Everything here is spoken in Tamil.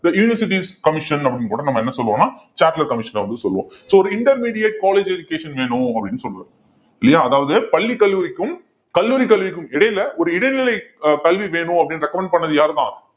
the universities commission அப்படின்னு கூட நம்ம என்ன சொல்லுவோன்னா சாட்லர் commission அ வந்து சொல்லுவோம் so ஒரு intermediate college education வேணும் அப்படின்னு சொல்லுவாரு இல்லையா அதாவது பள்ளி கல்லூரிக்கும் கல்லூரி கல்விக்கும் இடையில ஒரு இடைநிலை அஹ் கல்வி வேணும் அப்படின்னு recommend பண்ணது யாருதான்